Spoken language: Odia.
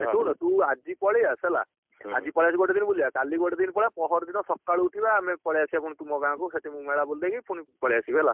ଶୁଣ ତୁ ଆଜି ପଳେଇଆସେ ହେଲା ଆଜି ପଳେଇଆସିବୁ ଗୋଟେ ଦିନ ବୁଲିବା କାଲି ବି ଗୋଟେ ଦିନ ପଳେଇବ ପହରଦିନ ସଖାଳୂ ଉଠିବା ଆମେ ପଳେଇ ଆସିବା ଫୁଣି ତମ ଗାଁ କୁ ସେଇଠି ମେଳା ବୁଲିଦେଇକି ପୁଣି ପଳେଇଆସିବି ହେଲା।